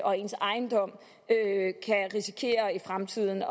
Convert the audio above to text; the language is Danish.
og ens ejendom i fremtiden